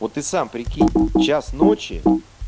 вот и сам прикинь час ночи